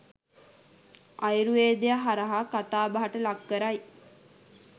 ආයුර්වේදය හරහා කතාබහට ලක් කරයි.